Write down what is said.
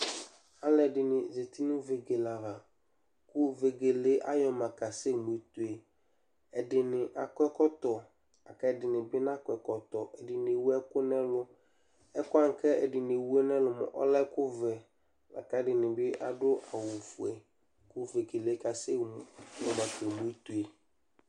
Alʋɛdɩnɩ zati nʋ vegele ava kʋ vegele yɛ ayɔma kasɛmu ito yɛ Ɛdɩnɩ akɔ ɛkɔtɔ kʋ ɛdɩnɩ bɩ nakɔ ɛkɔtɔ Ɛdɩnɩ ewu ɛkʋ nʋ ɛlʋ Ɛkʋ wanɩ kʋ ɛdɩnɩ ewu nʋ ɛlʋ yɛ mʋa, ɔlɛ ɛkʋvɛ la kʋ ɛdɩnɩ bɩ adʋ awʋfue kʋ vegele yɛ kasɛmu nafa ito yɛ